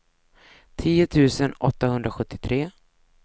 tio tusen åttahundrasjuttiotre